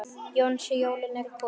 Jónsi, jólin eru komin.